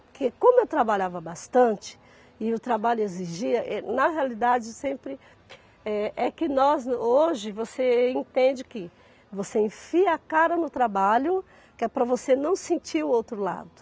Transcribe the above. Porque como eu trabalhava bastante, e o trabalho exigia, êh, na realidade sempre É que nós, hoje, você entende que você enfia a cara no trabalho que é para você não sentir o outro lado.